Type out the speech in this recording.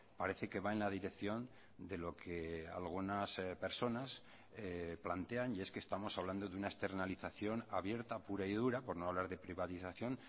parece que va en la dirección de lo que algunas personas plantean y es que estamos hablando de una externalización abierta pura y dura por no hablar de privatización